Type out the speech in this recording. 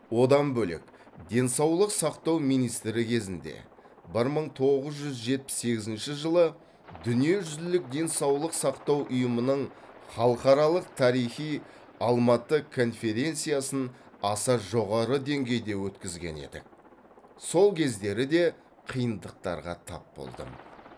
одан бөлек денсаулық сақтау министрі кезінде бір мың тоғыз жүз жетпіс сегізінші жылы дүниежүзілік денсаулық сақтау ұйымының халықаралық тарихи алматы конференциясын аса жоғары деңгейде өткізген едік сол кездері де қиындықтарға тап болдым